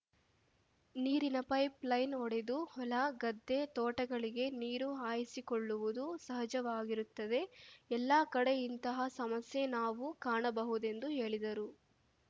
ನೀರಿನ pipeline ಒಡೆದು ಹೊಲ ಗದ್ದೆ ತೋಟಗಳಿಗೆ ನೀರು ಹಾಯಿಸಿಕೊಳ್ಳುವುದು ಸಹಜವಾಗಿರುತ್ತದೆ ಎಲ್ಲಾ ಕಡೆ ಇಂತಹ ಸಮಸ್ಯೆ ನಾವು ಕಾಣಬಹುದೆಂದು ಹೇಳಿದರು